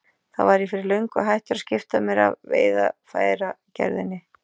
Þá var ég fyrir löngu hættur að skipta mér af veiðarfæragerðinni.